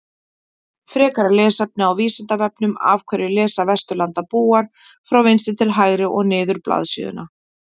Frekara lesefni á Vísindavefnum Af hverju lesa Vesturlandabúar frá vinstri til hægri og niður blaðsíðuna?